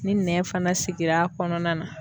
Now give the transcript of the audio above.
Ni nɛn fana sigira kɔnɔna na